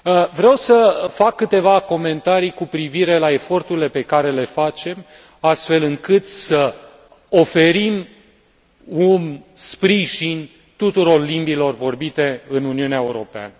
Vreau să fac câteva comentarii cu privire la eforturile pe care le facem, astfel încât să oferim un sprijin tuturor limbilor vorbite în Uniunea Europeană.